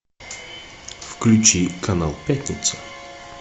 включи канал пятница